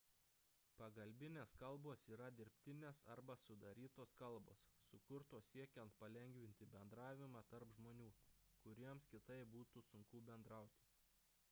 pagalbinės kalbos yra dirbtinės arba sudarytos kalbos sukurtos siekiant palengvinti bendravimą tarp žmonių kuriems kitaip būtų sunku bendrauti